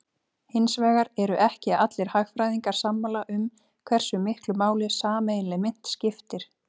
Hins vegar eru ekki allir hagfræðingar sammála um hversu miklu máli sameiginleg mynt skipti.